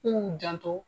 K'u janto